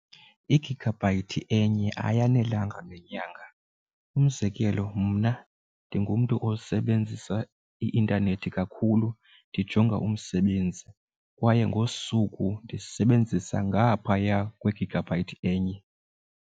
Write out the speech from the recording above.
Igigabhayithi enye ayanelanga nenyanga umzekelo mna ndingumntu osebenzisa i-intanethi kakhulu ndijonga umsebenzi kwaye ngosuku ndisebenzisa ngaphaya kwegigabyte enye.